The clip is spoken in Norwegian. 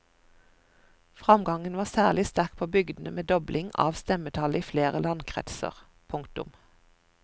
Framgangen var særlig sterk på bygdene med dobling av stemmetallet i flere landkretser. punktum